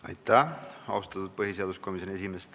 Aitäh, austatud põhiseaduskomisjoni esimees!